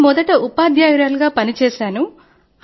నేను మొదట ఉపాధ్యాయురాలిగా పని చేశాను